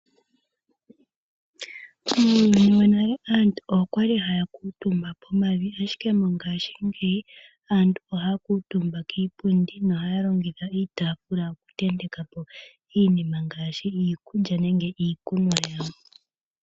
Muuyuni wonale aantu oya li haya kuutumba pomavi, ashike mongashingeyi, aantu ohaya kuutumba kiipundi nohaya longitha iitaafula okutenteka po iinima ngaashi iikulya, nenge iikunwa yawo.